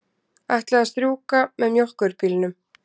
Ætlaði að strjúka með mjólkurbílnum.